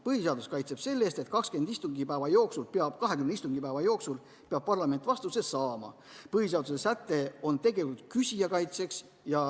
Põhiseadus kaitseb siin seda, et 20 istungipäeva jooksul peab parlament vastuse saama, põhiseaduse säte on tegelikult küsija kaitseks.